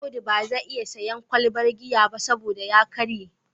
Audu ba zai iya sayen kwalbar giya ba saboda ya karye